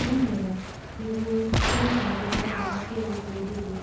Wĩmwega. Nĩguo, kũrĩ na njĩra njega cia gũbundithia.